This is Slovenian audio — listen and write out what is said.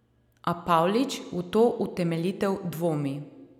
A Pavlič v to utemeljitev dvomi.